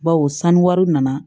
Bawo sanu nana